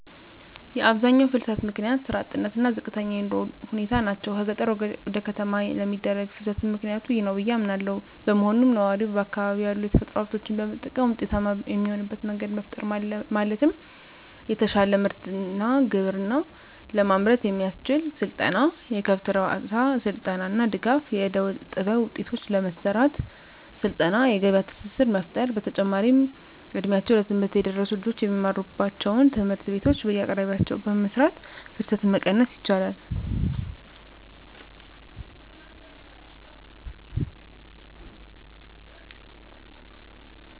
የአብዛኛው ፍልሰት ምክንያት ስራ አጥነት እና ዝቅተኛ የኑሮ ሁኔታ ናቸው። ከገጠር ወደ ከተማ ለሚደረግ ፍልስትም ምክኒያቱ ይህ ነው ብዬ አምናለው። በመሆኑም ነዋሪው በአካባቢው ያሉ የተፈጥሮ ሀብቶችን በመጠቀም ውጤታማ የሚሆንበት መንገድ መፍጠር ማለትም የተሻለ ግብርና ምርት ለማምረት የሚያስችል ስልጠና፣ የከብት እርባታ ስልጠና እና ድጋፍ. ፣ የእደጥበብ ውጤቶችን ለመሰራት ስልጠና የገበያ ትስስር መፍጠር። በተጨማሪም እ ድሜያቸው ለትምህርት የደረሱ ልጆች የሚማሩባቸውን ትምህርት ቤቶች በየአቅራቢያቸው በመስራት ፍልሰትን መቀነስ ይቻላል።